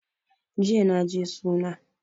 Jiya naje suna